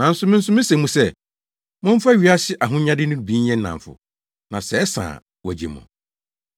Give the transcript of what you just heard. Na me nso mise mo sɛ, momfa wiase ahonyade no bi nyɛ nnamfo, na sɛ ɛsa a wɔagye mo.